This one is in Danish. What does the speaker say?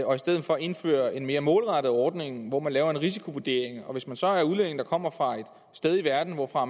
og i stedet for indfører en mere målrettet ordning hvor man laver en risikovurdering hvis man så er en udlænding der kommer fra et sted i verden hvorfra